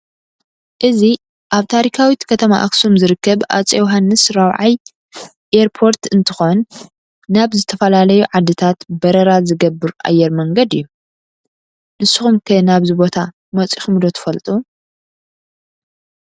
እዚ አብ ታሪካዊት ከተማ አክሱም ዝርከብ አፄ ዮውሃንስ 4ይ ኤርፖርት እንትኮን ናብ ዝተፈላለዩ ዓድታት በረራ ዝገብር አየር መንገድ እዩ ።ንስኩም ከ ናብዚ ቦታ መፂኩም ዶ ትፈልጡ ?